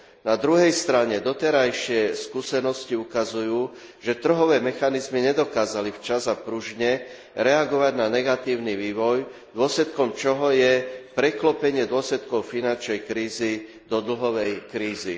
Na druhej strane doterajšie skúsenosti ukazujú, že trhové mechanizmy nedokázali včas a pružne reagovať na negatívny vývoj, dôsledkom čoho je preklopenie dôsledkov finančnej krízy do dlhovej krízy.